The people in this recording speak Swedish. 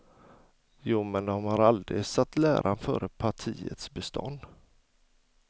Jo, men de har aldrig satt läran före partiets bestånd.